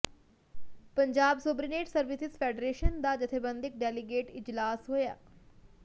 Punjab subordinate services federation ਦਾ ਜਥੇਬੰਦਕ delegate ਇਜਲਾਸ ਹੋਇਆ